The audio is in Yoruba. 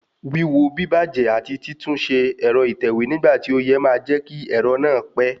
Wíwo bíbàjẹ́ àti títúnṣe ẹ̀rọ ìtẹ̀wé nígbà tí ó yẹ máa jẹ́ kí ẹ̀rọ náà pé